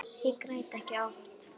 Ég græt ekki oft.